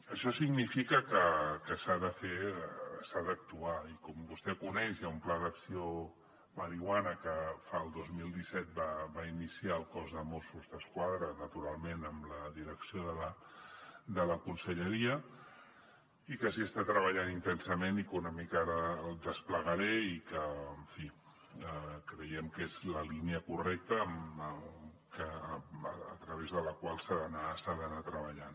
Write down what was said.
això significa que s’ha d’actuar i com vostè coneix hi ha un pla d’acció marihuana que el dos mil disset va iniciar el cos de mossos d’esquadra naturalment amb la direcció de la conselleria i que hi està treballant intensament i que una mica ara el desplegaré i que en fi creiem que és la línia correcta a través de la qual s’ha d’anar treballant